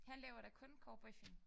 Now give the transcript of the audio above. Han laver da kun cowboyfilm